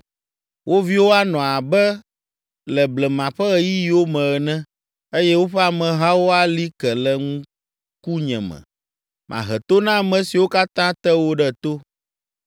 Wo viwo anɔ abe le blema ƒe ɣeyiɣiwo me ene eye woƒe amehawo ali ke le ŋkunye me. Mahe to na ame siwo katã te wo ɖe to.